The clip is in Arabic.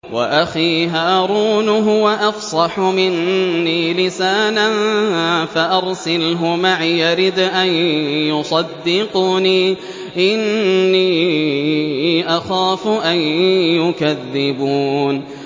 وَأَخِي هَارُونُ هُوَ أَفْصَحُ مِنِّي لِسَانًا فَأَرْسِلْهُ مَعِيَ رِدْءًا يُصَدِّقُنِي ۖ إِنِّي أَخَافُ أَن يُكَذِّبُونِ